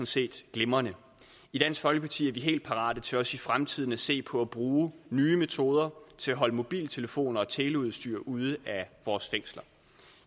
set glimrende i dansk folkeparti er vi helt parate til også i fremtiden at se på at bruge nye metoder til at holde mobiltelefoner og teleudstyr ude af vores fængsler